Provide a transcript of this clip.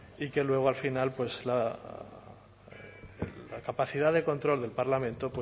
y que luego al final la capacidad de control del parlamento